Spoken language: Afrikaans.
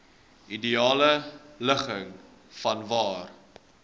ideale ligging vanwaar